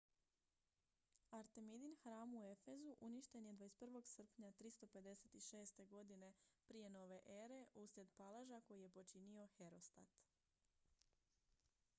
artemidin hram u efezu uništen je 21. srpnja 356. godine p.n.e. uslijed paleža koji je počinio herostat